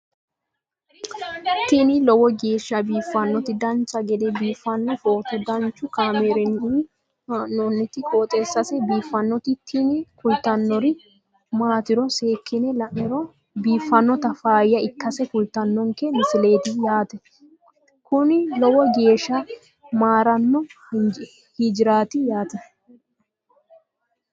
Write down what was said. tini lowo geeshsha biiffannoti dancha gede biiffanno footo danchu kaameerinni haa'noonniti qooxeessa biiffannoti tini kultannori maatiro seekkine la'niro biiffannota faayya ikkase kultannoke misileeti yaate kuni lowo geeshsha geeshsha marino hijaaraati yaate